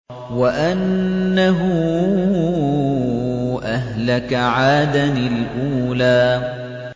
وَأَنَّهُ أَهْلَكَ عَادًا الْأُولَىٰ